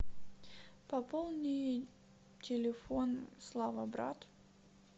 пополни телефон слава брат